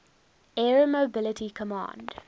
air mobility command